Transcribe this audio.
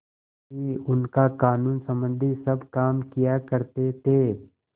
ही उनका कानूनसम्बन्धी सब काम किया करते थे